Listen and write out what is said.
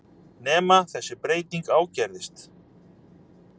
Nema þessi breyting ágerðist.